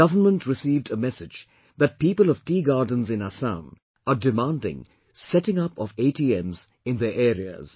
The government received a message that people of tea gardens in Assam are demanding setting up of ATMs in their areas